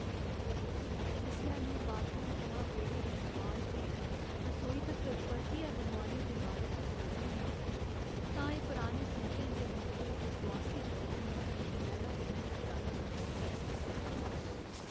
जिसलै में बाथरूम थमां बेह्ड़े दी दोआल ते रसौई तक्कर परतियै बनोआने दे बारे च सौचनी आं तां एह् पराने चेतें दे मंदे ते दुआसी दी रली मिली दी इक लैह्रा कन्नै टकराने जनेहा होंदा ऐ।